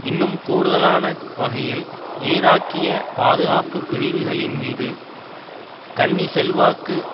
இன்னும் கூடுதலான வகையில் ஈராக்கிய பாதுகாப்பு பிரிவுகளின்மீது கன்னி செல்வாக்கு